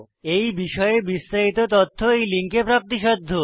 এই বিষয়ে বিস্তারিত তথ্য এই লিঙ্কে প্রাপ্তিসাধ্য